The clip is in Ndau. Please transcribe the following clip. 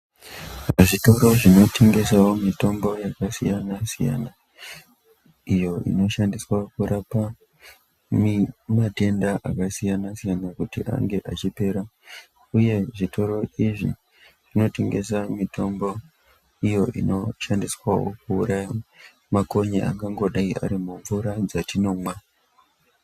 Zvitoro zvinotengesavo mitombo yakasiyana-siyana. Iyo inoshandiswa kurapa matenda akasiyana-siyana, kuti ange achipera, uye zvitoro izvi zvinotengesa mitombo iyo inoshandiswavo kuuraya makonye angangodai ari mumvura dzatinomwa.